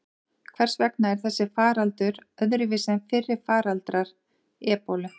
Hvers vegna er þessi faraldur öðruvísi en fyrri faraldrar ebólu?